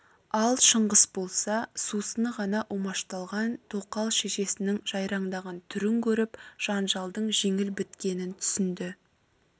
ал шыңғыс болса сусыны қана умашталған тоқал шешесінің жайраңдаған түрін көріп жанжалдың жеңіл біткенін түсінді